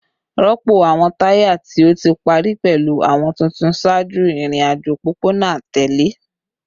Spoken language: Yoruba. Rọpo awọn taya ti o ti pari pẹlu awọn tuntun ṣaaju irin-ajo opopona atẹle